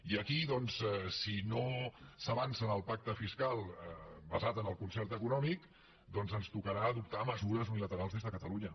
i aquí doncs si no s’avança en el pacte fiscal basat en el concert econòmic doncs ens tocarà adoptar mesures unilaterals des de catalunya